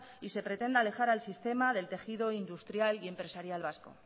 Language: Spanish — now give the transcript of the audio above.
y se pretenda alejar al sistema del tejido industrial y empresarial vasco